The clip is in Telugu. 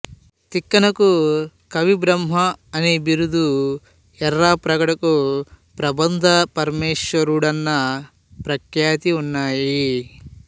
తిక్కనకు కవిబ్రహ్మ అని బిరుదు ఎర్రాప్రగడకు ప్రబంధ పరమేశ్వరుడన్న ప్రఖ్యాతి ఉన్నాయి